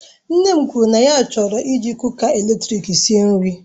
Nne m kwuru na ya chọrọ iji kuka eletrik esi nri